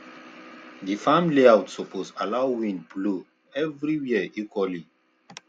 di farm layout suppose allow wind blow every where equally